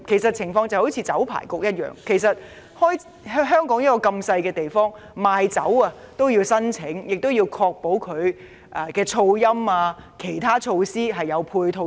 正如酒牌局的情況，香港地方細小，賣酒必須申請，亦要確保有噪音管理及其他配套措施。